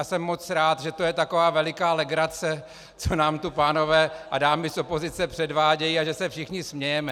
A jsem moc rád, že to je taková veliká legrace, co nám tu pánové a dámy z opozice předvádějí, a že se všichni smějeme.